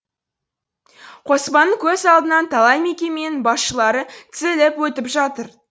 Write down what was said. қоспанның көз алдынан талай мекеменің басшылары тізіліп өтіп жатыр